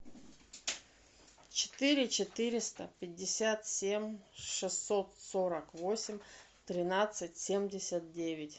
четыре четыреста пятьдесят семь шестьсот сорок восемь тринадцать семьдесят девять